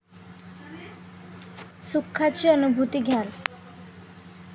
सुखाची अनुभूती घ्याल.